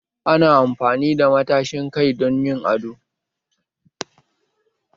Ana amfani da matashin kai don yin ado